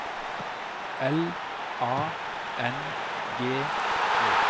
L A N G Ø